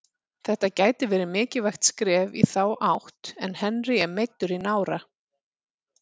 Þetta gæti verið mikilvægt skref í þá átt en Henry er meiddur í nára.